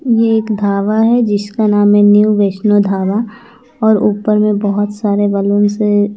ये एक ढाबा है जिसका नाम है न्यू वैष्णव ढाबा और ऊपर भी बहोत सारे बलून्स से--